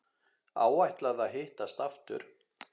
Áætlað að hittast aftur?